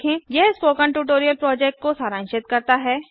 यह spoken tutorial project को सारांशित करता है